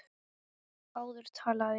Áður talaði ég.